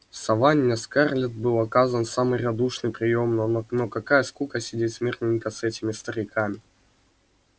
в саванне скарлетт был оказан самый радушный приём но какая скука сидеть смирненько с этими стариками